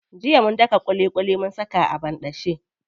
Jiya mun daka ƙuliƙuli mun saka a banɗace.